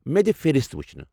مےٚ دِ فہرِست وٗچھنہٕ۔